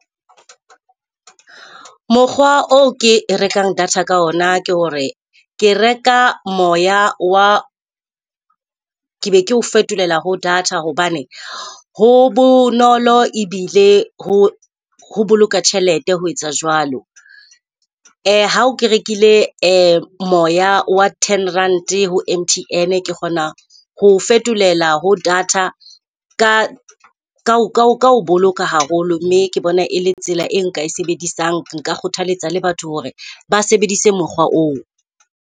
Mokgwa o ke rekang data ka ona ke hore ke reka moya wa ke be ke o fetolela ho data hobane ho bonolo ebile ho ho boloka tjhelete ho etsa jwalo. Ha o ke rekile moya wa ten rand ho M_T_N, ke kgona ho o fetolela ho data ka ka ho boloka haholo mme ke bona e le tsela e nka e sebedisang. Nka kgothaletsa le batho hore ba sebedise mokgwa oo.